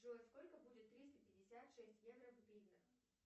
джой сколько будет триста пятьдесят шесть евро в гривнах